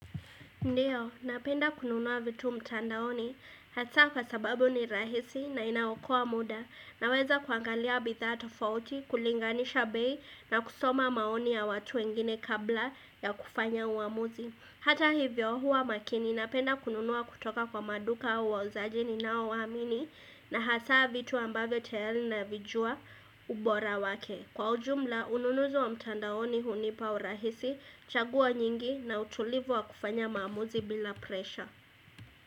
Ndiyo, napenda kununua vitu mtandaoni hasa kwa sababu ni rahisi na inaokoa muda naweza kuangalia bidhaa tofauti kulinganisha bei na kusoma maoni ya watu wengine kabla ya kufanya uamuzi. Hata hivyo, huwa makini napenda kununua kutoka kwa maduka au wauzaji ninao waamini na hasa vitu ambavyo tayari navijua ubora wake. Kwa ujumla, ununuzi wa mtandaoni hunipa urahisi, chaguo nyingi na utulivu wa kufanya maamuzi bila presha.